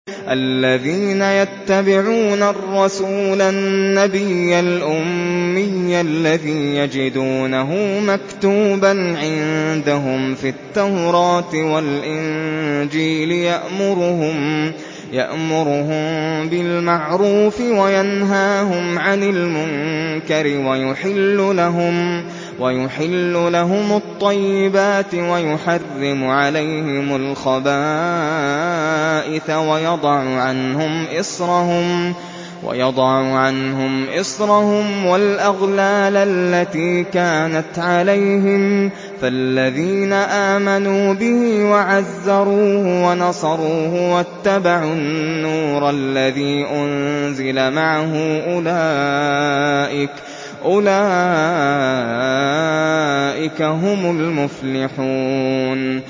الَّذِينَ يَتَّبِعُونَ الرَّسُولَ النَّبِيَّ الْأُمِّيَّ الَّذِي يَجِدُونَهُ مَكْتُوبًا عِندَهُمْ فِي التَّوْرَاةِ وَالْإِنجِيلِ يَأْمُرُهُم بِالْمَعْرُوفِ وَيَنْهَاهُمْ عَنِ الْمُنكَرِ وَيُحِلُّ لَهُمُ الطَّيِّبَاتِ وَيُحَرِّمُ عَلَيْهِمُ الْخَبَائِثَ وَيَضَعُ عَنْهُمْ إِصْرَهُمْ وَالْأَغْلَالَ الَّتِي كَانَتْ عَلَيْهِمْ ۚ فَالَّذِينَ آمَنُوا بِهِ وَعَزَّرُوهُ وَنَصَرُوهُ وَاتَّبَعُوا النُّورَ الَّذِي أُنزِلَ مَعَهُ ۙ أُولَٰئِكَ هُمُ الْمُفْلِحُونَ